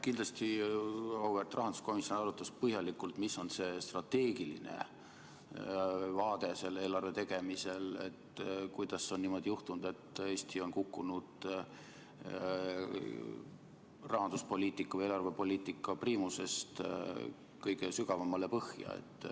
Kindlasti auväärt rahanduskomisjon arutas põhjalikult, mis on see strateegiline vaade eelarve tegemisel, et kuidas on niimoodi juhtunud, et Eesti on kukkunud rahandus- ja eelarvepoliitika priimusest kõige sügavamale põhja.